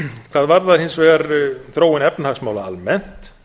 hvað varðar hins vegar þróun efnahagsmála almennt